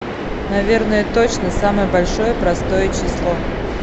наверное точно самое большое простое число